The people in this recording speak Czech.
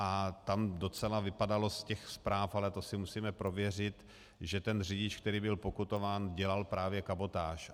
A tam docela vypadalo z těch zpráv, ale to si musíme prověřit, že ten řidič, který byl pokutován, dělal právě kabotáž.